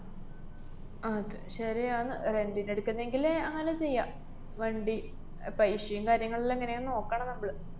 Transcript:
അത് ശരിയാണ്. rent ന് എടുക്കുന്നെങ്കില് അങ്ങനെ ചെയ്യാം വണ്ടി paisa ഏം കാര്യങ്ങളിലെങ്ങനെയാന്ന് നോക്കണം നമ്മള്.